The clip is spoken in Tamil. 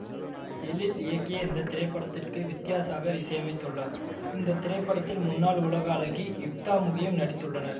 எழில் இயக்கிய இந்த திரைப்படத்திற்கு வித்யாசாகர் இசையமைத்துள்ளார் இந்தத்திரைப்படத்தில் முன்னால் உலக அழகி யுக்தாமுகியும் நடித்துள்ளார்